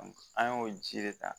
An y'o ji de ta